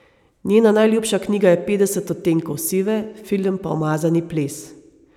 Njena najljubša knjiga je Petdeset odtenkov sive, film pa Umazani ples.